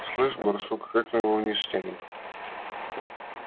слышишь барсук а как мы его вниз стянем